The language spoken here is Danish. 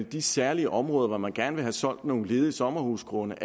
de særlige områder hvor man gerne vil have solgt nogle ledige sommerhusgrunde